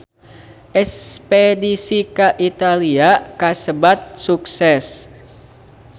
Espedisi ka Italia kasebat sukses